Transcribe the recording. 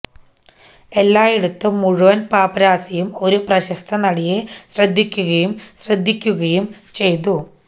എല്ലായിടത്തും മുഴുവൻ പാപ്പരാസിയും ഒരു പ്രശസ്ത നടിയെ ശ്രദ്ധിക്കുകയും ശ്രദ്ധിക്കുകയും ചെയ്തു